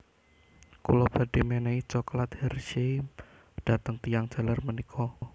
Kula badhe menehi cokelat Hershey dateng tiyang jaler menika